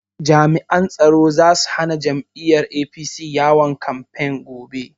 Jami'an tsaro zasu hana jam'iyyar APC yawon kamfen gobe